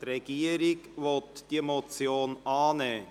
Die Regierung will diese Motion annehmen.